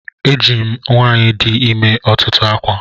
Ajinyem nwanyi di imer otutu akwa.